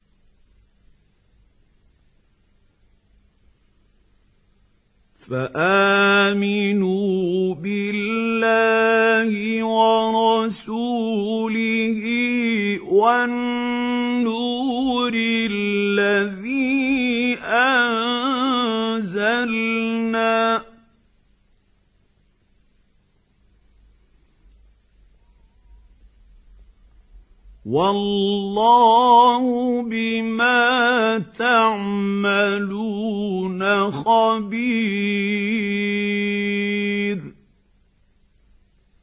فَآمِنُوا بِاللَّهِ وَرَسُولِهِ وَالنُّورِ الَّذِي أَنزَلْنَا ۚ وَاللَّهُ بِمَا تَعْمَلُونَ خَبِيرٌ